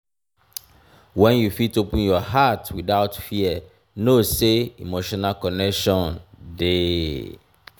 wen you fit open your heart witout fear know sey emotional connection dey.